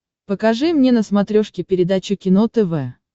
покажи мне на смотрешке передачу кино тв